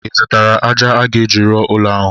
Ị zụtara ájá a ga-eji rụọ ụlọ ahụ?